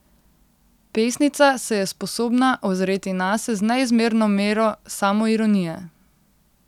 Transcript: Pesnica se je sposobna ozreti nase z neizmerno mero samoironije.